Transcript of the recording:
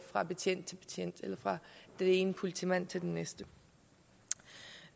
fra betjent til betjent eller fra den ene politimand til den næste